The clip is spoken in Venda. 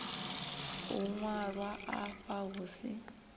u ṅwalwa afha hu si